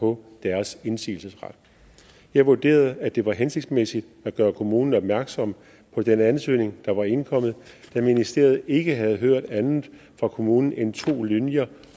på deres indsigelsesret jeg vurderede at det var hensigtsmæssigt at gøre kommunen opmærksom på den ansøgning der var indkommet da ministeriet ikke havde hørt andet fra kommunen end to linjer